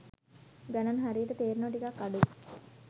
ගණන් හරියට තේරෙනවා ටිකක් අඩුයි.